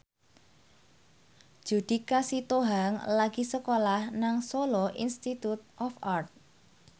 Judika Sitohang lagi sekolah nang Solo Institute of Art